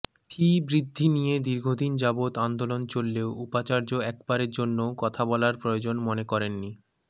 ফি বৃদ্ধি নিয়ে দীর্ঘদিন যাবত আন্দোলন চললেও উপাচার্য একবারের জন্যও কথা বলার প্রয়োজন মনে করেননি